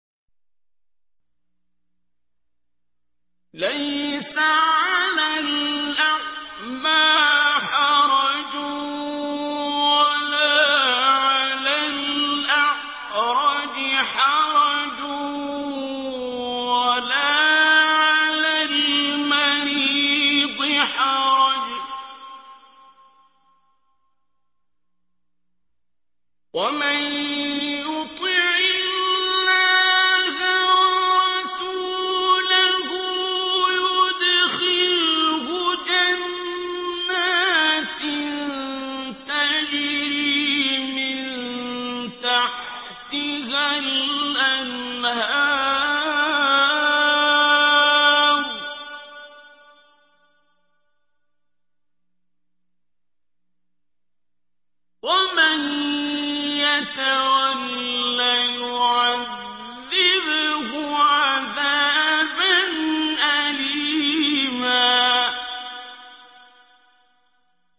لَّيْسَ عَلَى الْأَعْمَىٰ حَرَجٌ وَلَا عَلَى الْأَعْرَجِ حَرَجٌ وَلَا عَلَى الْمَرِيضِ حَرَجٌ ۗ وَمَن يُطِعِ اللَّهَ وَرَسُولَهُ يُدْخِلْهُ جَنَّاتٍ تَجْرِي مِن تَحْتِهَا الْأَنْهَارُ ۖ وَمَن يَتَوَلَّ يُعَذِّبْهُ عَذَابًا أَلِيمًا